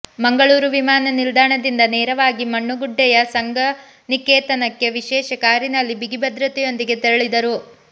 ಮಂಗಳೂರು ವಿಮಾನ ನಿಲ್ದಾಣದಿಂದ ನೇರವಾಗಿ ಮಣ್ಣಗುಡ್ಡೆಯ ಸಂಘನಿಕೇತನಕ್ಕೆ ವಿಶೇಷ ಕಾರಿನಲ್ಲಿ ಬಿಗಿ ಭದ್ರತೆಯೊಂದಿಗೆ ತೆರಳಿದರು